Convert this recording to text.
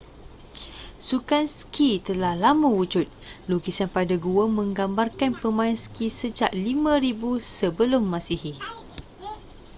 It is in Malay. sukan ski telah lama wujud lukisan pada gua menggambarkan pemain ski sejak 5000 sm